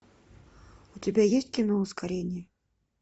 у тебя есть кино ускорение